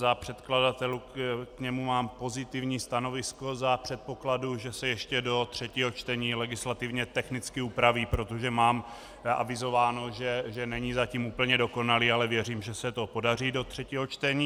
Za předkladatele k němu mám pozitivní stanovisko za předpokladu, že se ještě do třetího čtení legislativně technicky upraví, protože mám avizováno, že není zatím úplně dokonalý, ale věřím, že se to podaří do třetího čtení.